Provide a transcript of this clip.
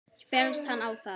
Féllst hann á það.